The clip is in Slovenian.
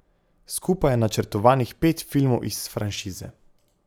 Skupaj je načrtovanih pet filmov iz franšize.